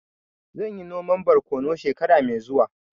Zan yi noman borkonu shekara mai zuwa